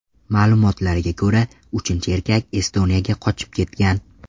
Ma’lumotlarga ko‘ra, uchinchi erkak Estoniyaga qochib ketgan.